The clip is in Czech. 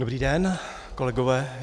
Dobrý den, kolegové.